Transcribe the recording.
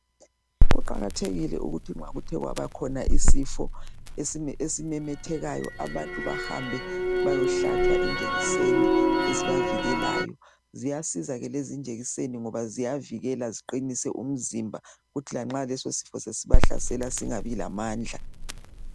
Kuqakathekile ukuthi nxa kuthe kwabakhona isifo esimemethekayo abantu bahambe bayohlatshwa injekiseni ezibavikelayo Ziyasiza ke lezi injekiseni ngoba ziyavikela ziqinise umzimba kuthi lanxa lesisifo sesibahlasela singabi lamandla